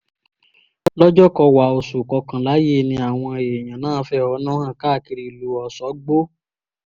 lọ́jọ́kọ́wàá oṣù kọkànlá yìí ni àwọn èèyàn náà fẹ̀hónú hàn káàkiri ìlú ọ̀ṣọ́gbó